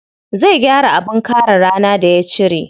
Zai gyara abin kare rana da ya cire.